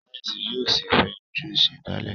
Sáyẹnsì yóò sí fè ojú ìsèdálè.